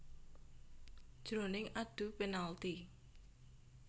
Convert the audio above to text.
Jroning adu penalti